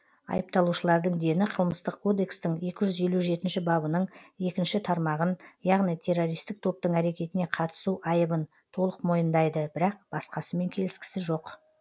айыпталушылардың дені қылмыстық кодекстің екі жүз елу жетінші бабының екінші тармағын яғни террористік топтың әрекетіне қатысу айыбын толық мойындайды бірақ басқасымен келіскісі жоқ